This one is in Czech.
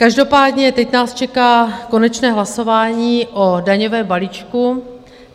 Každopádně teď nás čeká konečné hlasování o daňovém balíčku.